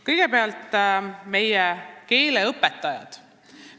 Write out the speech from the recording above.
Kõigepealt, meie keeleõpetajad.